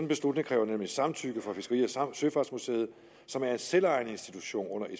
beslutning kræver nemlig samtykke fra fiskeri og søfartsmuseet som er en selvejende institution under